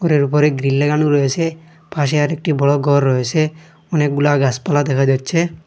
ঘরের উপরে গ্রিল লাগানো রয়েছে পাশে আর একটি বড় ঘর রয়েছে অনেকগুলা গাছপালা দেখা যাচ্ছে।